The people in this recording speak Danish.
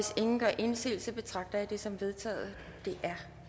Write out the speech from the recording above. ingen gør indsigelse betragter jeg det som vedtaget det er